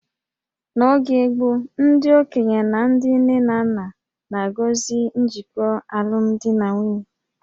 N'oge gboo, ndị okenye na ndị nne na nna na-agọzi njikọ alụmdi na nwunye